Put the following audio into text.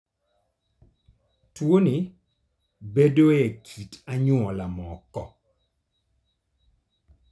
Tuwoni bedoe e kit anyuola moko.